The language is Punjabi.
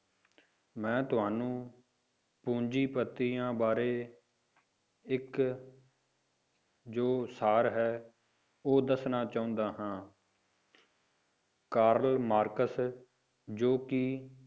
ਮੈਂ ਤੁਹਾਨੂੰ ਪੂੰਜੀਪਤੀਆਂ ਬਾਰੇ ਇੱਕ ਜੋ ਸਾਰ ਹੈ ਉਹ ਦੱਸਣਾ ਚਾਹੁੰਦਾ ਹਾਂ ਕਾਰਲ ਮਾਰਕਸ ਜੋ ਕਿ